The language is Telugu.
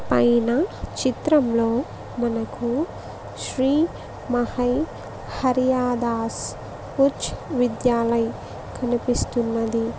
పైన చిత్రంలో మనకు శ్రీ మహై హరియాదాస్ ఉచ్ విద్యాలై కనిపిస్తున్నది.